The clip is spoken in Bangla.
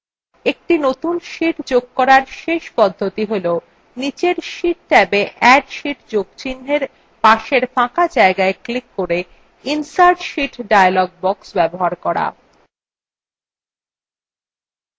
একটি নতুন sheet যোগ করার শেষ পদ্ধতি হল নীচের sheet ট্যাবa add sheet যোগ চিন্হের পাশের ফাঁকা জায়গায় ক্লিক করে insert sheet dialog box ব্যবহার করা